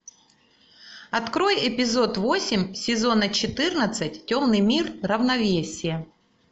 открой эпизод восемь сезона четырнадцать темный мир равновесие